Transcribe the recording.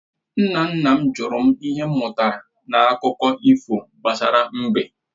Nna nna m jụrụ ihe anyị mụtara n’akụkọ ifo gbasara mbe